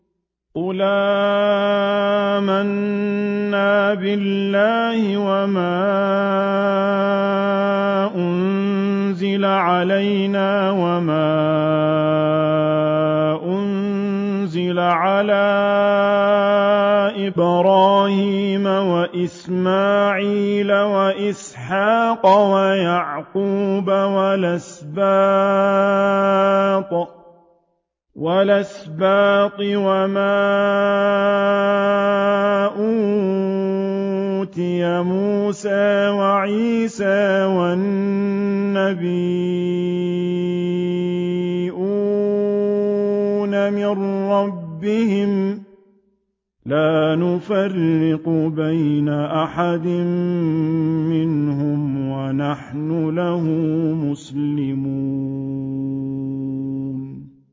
قُلْ آمَنَّا بِاللَّهِ وَمَا أُنزِلَ عَلَيْنَا وَمَا أُنزِلَ عَلَىٰ إِبْرَاهِيمَ وَإِسْمَاعِيلَ وَإِسْحَاقَ وَيَعْقُوبَ وَالْأَسْبَاطِ وَمَا أُوتِيَ مُوسَىٰ وَعِيسَىٰ وَالنَّبِيُّونَ مِن رَّبِّهِمْ لَا نُفَرِّقُ بَيْنَ أَحَدٍ مِّنْهُمْ وَنَحْنُ لَهُ مُسْلِمُونَ